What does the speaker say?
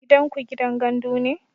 Gidanku gidan gandu ne?